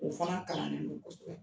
O fana kalannen don kosɛbɛ.